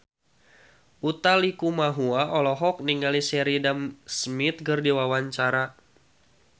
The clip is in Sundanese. Utha Likumahua olohok ningali Sheridan Smith keur diwawancara